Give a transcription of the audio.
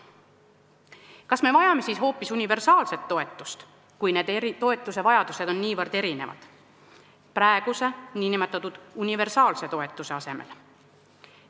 Kui toetuse vajadus on niivõrd erinev, kas me vajame siis hoopis universaalset toetust praeguse nn universaalse toetuse asemele?